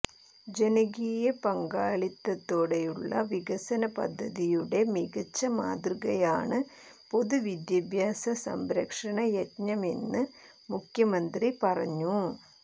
ജനകീയ പങ്കാളിത്തത്തോടെയുള്ള വികസനപദ്ധതിയുടെ മികച്ച മാതൃകയാണ് പൊതുവിദ്യാഭ്യാസ സംരക്ഷണയജ്ഞമെന്ന് മുഖ്യമന്ത്രി പറഞ്ഞു